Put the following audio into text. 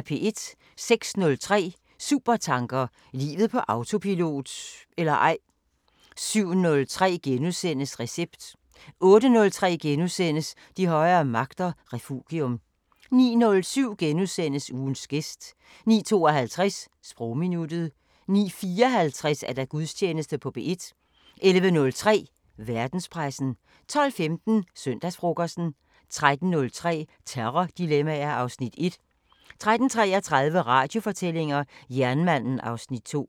06:03: Supertanker: Livet på autopilot – eller ej 07:03: Recept * 08:03: De højere magter: Refugium * 09:07: Ugens gæst * 09:52: Sprogminuttet 09:54: Gudstjeneste på P1 11:03: Verdenspressen 12:15: Søndagsfrokosten 13:03: Terrordilemmaer (Afs. 1) 13:33: Radiofortællinger: Jernmanden (Afs. 2)